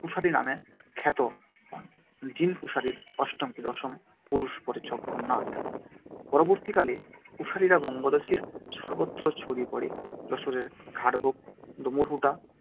কুশারী নামে খ্যাত দীন কুশারীর অষ্টম কি দশম পুরুষ পরে জগন্নাথ৷ পরবর্তীকালে কুশারীরা বঙ্গদেশের সর্বত্র ছড়িয়ে পড়ে- যশোরের ঘাটভোগ-দমুরহুদা